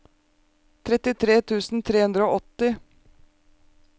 trettitre tusen tre hundre og åtti